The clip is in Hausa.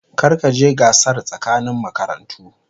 Kar ka je gasar tsakanin makarantu.